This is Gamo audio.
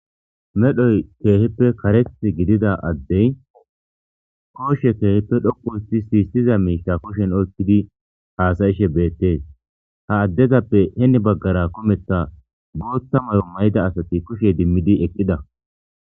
medhoy keehippe kareth gidida addey koodhe keehippe dhoqu histi siyistiza miisha kushen oykkidi haasayishe beettees ha addezappe heni baggara kometha bootta mayo may7ida asati kushe dimmidi eqqida